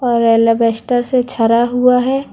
एलालेबस्टर से झरा हुआ है।